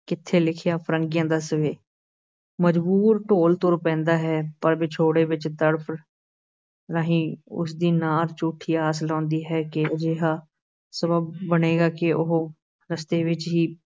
ਕਿੱਥੇ ਲਿਖਿਆ ਫ਼ਰੰਗੀਆ ਦੱਸ ਵੇ, ਮਜਬੂਰ ਢੋਲ ਤੁਰ ਪੈਂਦਾ ਹੈ, ਪਰ ਵਿਛੋੜੇ ਵਿਚ ਤੜਫ ਰਹੀ ਉਸ ਦੀ ਨਾਰ ਝੂਠੀ ਆਸ ਲਾਉਂਦੀ ਹੈ ਕਿ ਅਜਿਹਾ ਸਬੱਬ ਬਣੇਗਾ ਕਿ ਉਹ ਰਸਤੇ ਵਿੱਚ ਹੀ